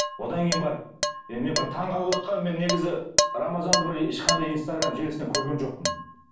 одан кейін барып енді мен бір таң қалып мен негізі рамазанды бір ешқандай инстаграмм желісінен көрген жоқпын